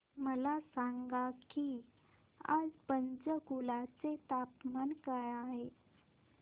मला सांगा की आज पंचकुला चे तापमान काय आहे